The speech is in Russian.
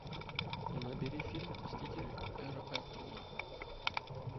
набери фильм мстители эра альтрона